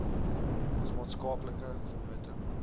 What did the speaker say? ons maatskaplike vennote